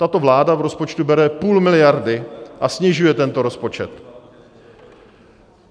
Tato vláda v rozpočtu bere půl miliardy a snižuje tento rozpočet.